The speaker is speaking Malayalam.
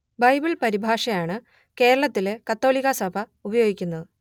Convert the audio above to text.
ബൈബിൾ പരിഭാഷ ആണ് കേരളത്തിൽ കത്തോലിക്കാ സഭ ഉപയോഗിക്കുന്നത്